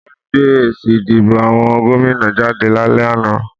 Wọ́n gbé èsì ìdìbò àwọn gómìnà jáde lálẹ́ àná